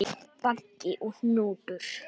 Baggi og Hnútur